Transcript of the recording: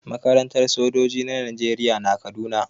Makarantar sojoji na najeriya na kaduna